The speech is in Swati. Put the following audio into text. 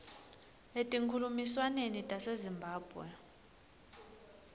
etinkhulumiswaneni tase zimbabwe